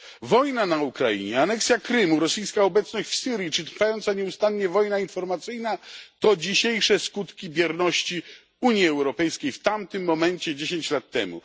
Wojna na Ukrainie, aneksja Krymu, rosyjska obecność w Syrii czy trwająca nieustannie wojna informacyjna to dzisiejsze skutki bierności Unii Europejskiej w tamtym momencie, 10 lat temu.